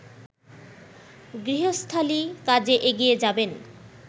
গৃহস্থালি কাজে এগিয়ে যাবেন